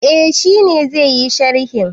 Eh, shi ne zai yi sharhin.